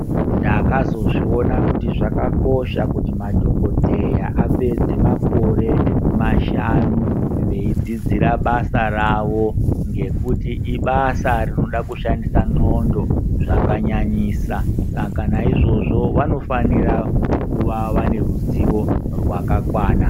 Ndakazozviona kuti madhokodheya apedze makore mashanu eidzidza basa ravo ngekuti ibasa rinoda kushandisa ndxondo zvakanyanyisa Saka naizvozvo vanofanira kuva neruzivo hwakakwana.